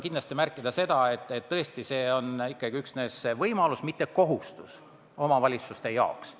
Aga märgin veel kord: tõesti, see on ikkagi üksnes võimalus, mitte kohustus omavalitsuste jaoks.